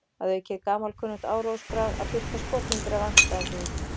Að auki er gamalkunnugt áróðursbragð að birta skopmyndir af andstæðingnum.